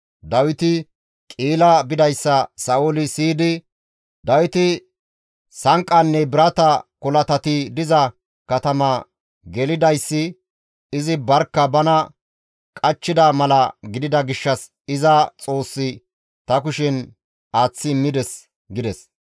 Dawiti Qi7ila bidayssa Sa7ooli siyidi, «Dawiti sanqqanne birata kolatati diza katama gelidayssi izi barkka bana qachchida mala gidida gishshas iza Xoossi ta kushen aaththi immides» gides.